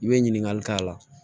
I bɛ ɲininkali k'a la